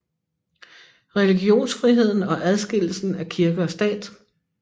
Religionsfriheden og adskillelsen af kirke og stat